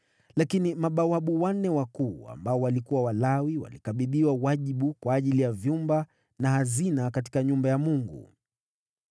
Lakini mabawabu wanne wakuu, waliokuwa Walawi, walikabidhiwa wajibu kwa ajili ya vyumba na hazina katika nyumba ya Mungu.